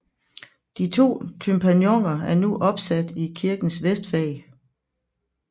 De to tympanoner er nu opsat i kirkens vestfag